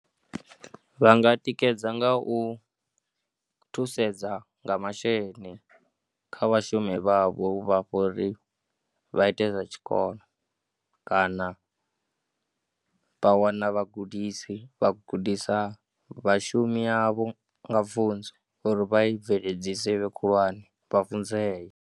Vha nga tikedza nga u thusedza nga masheleni kha vhashumi vhavho u vha fha uri vha ite zwa tshikolo kana vha wana vhagudisi vha gudisa vhashumi yavho nga pfunzo uri vha bveledzise i vhe khulwane vha funzee.